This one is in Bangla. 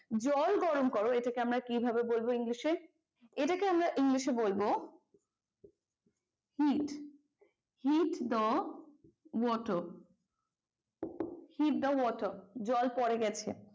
জল গরম করো এটাকে আমরা কিভাবে বলবো english এ? এটাকে আমরা english এ hit, hit the water. hit the water জল পরে গেছে।